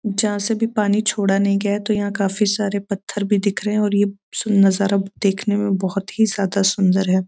जहाँ से भी पानी छोड़ा नहीं गया है तो यहाँ पर काफी सारे पत्थर भी दिख रहे हैं और ये सुंदर नजरा देखने में बहोत ही ज्यादा सुंदर है।